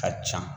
Ka ca